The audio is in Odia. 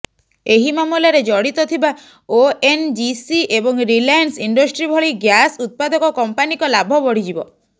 ଏହି ମାମଲାରେ ଜଡିତ ଥିବା ଓଏନଜିସି ଏବଂ ରିଲାଏନ୍ସ ଇଣ୍ଡଷ୍ଟ୍ରି ଭଳି ଗ୍ୟାସ୍ ଉତ୍ପାଦକ କମ୍ପାନୀଙ୍କ ଲାଭ ବଢିଯିବ